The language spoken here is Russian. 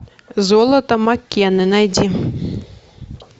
золото маккены найди